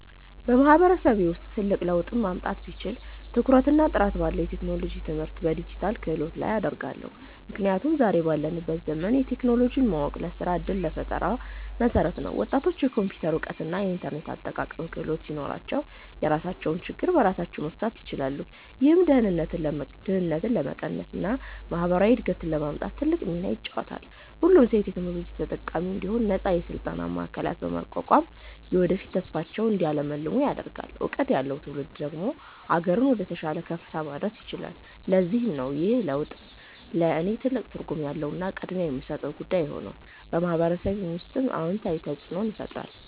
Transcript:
በማህበረሰቤ ውስጥ ትልቅ ለውጥ ማምጣት ብችል፣ ትኩረቴን ጥራት ባለው የቴክኖሎጂ ትምህርትና በዲጂታል ክህሎት ላይ አደርጋለሁ። ምክንያቱም ዛሬ ባለንበት ዘመን ቴክኖሎጂን ማወቅ ለስራ ዕድልና ለፈጠራ መሠረት ነው። ወጣቶች የኮምፒውተር እውቀትና የኢንተርኔት አጠቃቀም ክህሎት ሲኖራቸው፣ የራሳቸውን ችግር በራሳቸው መፍታት ይችላሉ። ይህም ድህነትን ለመቀነስና ማህበራዊ እድገትን ለማምጣት ትልቅ ሚና ይጫወታል። ሁሉም ሰው የቴክኖሎጂ ተጠቃሚ እንዲሆን ነፃ የስልጠና ማዕከላትን በማቋቋም፣ የወደፊት ተስፋቸውን እንዲያልሙ አደርጋለሁ። እውቀት ያለው ትውልድ ደግሞ አገርን ወደተሻለ ከፍታ ማድረስ ይችላል። ለዚህም ነው ይህ ለውጥ ለእኔ ትልቅ ትርጉም ያለውና ቅድሚያ የምሰጠው ጉዳይ የሆነው፤ በማህበረሰቤ ውስጥም አዎንታዊ ተፅእኖን ይፈጥራል።